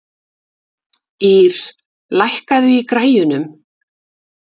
Ýr, lækkaðu í græjunum.